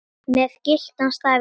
með gyltan staf í hendi.